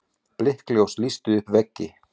Blikkljós lýstu upp veggi.